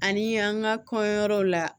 Ani an ka kɔɲɔyɔrɔw la